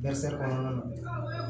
Dɛsɛri kɔnɔna na